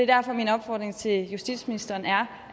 derfor er min opfordring til justitsministeren